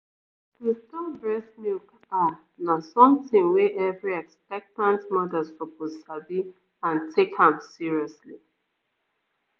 to store breast milk ah na something wey every expectant mother suppose sabi and take am seriously